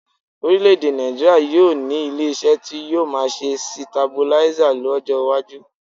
Orílẹ̀-èdè Nàìjííríà yóò ní ilé-iṣẹ́ tí yóò máa ṣe sitabuláísà lọ́jọ́ iwájú